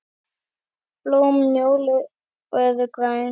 Blóm njóla eru græn.